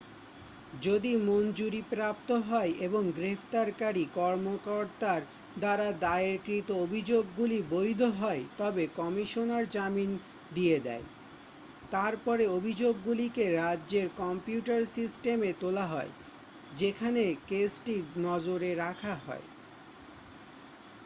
যদি মঞ্জুরিপ্রাপ্ত হয় এবং গ্রেপ্তারকারী কর্মকর্তার দ্বারা দায়েরকৃত অভিযোগগুলি বৈধ হয় তবে কমিশনার জামিন দিয়ে দেয় তারপরে অভিযোগগুলিকে রাজ্যের কম্পিউটার সিস্টেমে তোলা হয় যেখানে কেসটি নজরে রাখা হয়